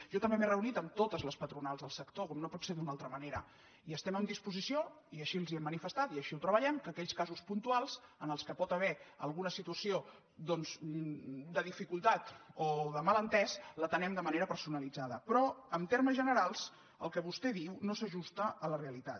jo també m’he reunit amb totes les patronals del sector com no pot ser d’una altra ma·nera i estem en disposició i així els ho hem manifestat i així ho treballem que aquells casos puntuals en què hi pot haver alguna situació doncs de dificultat o de malentès els atenem de manera personalitzada però en termes generals el que vostè diu no s’ajusta a la realitat